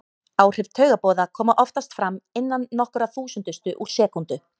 Áhrif taugaboða koma oftast fram innan nokkurra þúsundustu úr sekúndu.